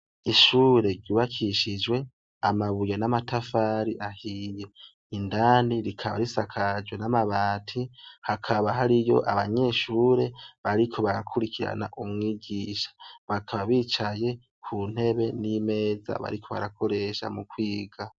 Ishure ryubakishijwe amabuye n'amatafari ahiye indandi rikaba risakajwe n'amabati hakaba hari yo abanyeshure bariko barakurikirana umwigisha bakaba bicaye ku ntebe n'imeza bariko barakoresha mu kwiga.